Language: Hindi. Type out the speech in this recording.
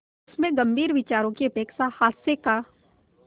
उसमें गंभीर विचारों की अपेक्षा हास्य का